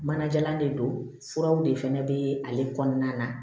Manajalan de don furaw de fɛnɛ bɛ ale kɔnɔna na